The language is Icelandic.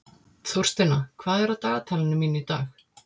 Þórsteina, hvað er á dagatalinu mínu í dag?